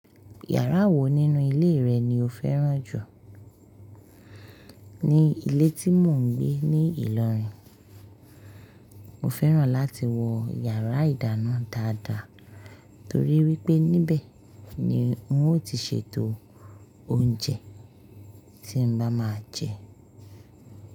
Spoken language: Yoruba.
Yàrá wo nínú ilé rẹ ni o fẹ́ràn jù? Ní ilé tí mò ń gbé ní Ìlọrin, mo fẹ́ràn láti wọ yàrá ìdáná dáadáa torí wípé níbẹ̀ ni ń ó ti ṣètò oúnjẹ tí ń bá máa jẹ.